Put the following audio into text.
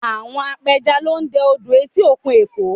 Àwọn apẹja lọ dẹ odò etí òkun Èkó